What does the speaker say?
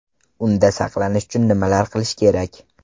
Unda saqlanish uchun nimalar qilish kerak?